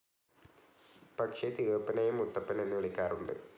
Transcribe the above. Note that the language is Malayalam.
പക്ഷേ തിരുവപ്പനെയും മുത്തപ്പൻ എന്ന് വിളിക്കാറുണ്ട്.